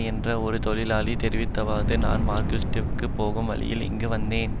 என்ற ஒரு தொழிலாளி தெரிவித்ததாவது நான் மஸ்கெலியாவுக்குப் போகும் வழியில் இங்கு வந்தேன்